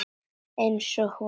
Einsog hún.